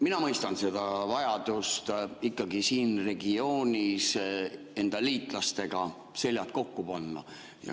Mina mõistan vajadust ikkagi siin regioonis enda liitlastega seljad kokku panna.